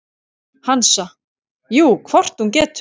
Hansa: Jú, hvort hún getur.